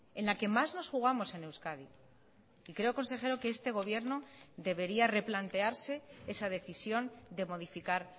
en la que más nos jugamos en euskadi y creo consejero que este gobierno debería replantearse esa decisión de modificar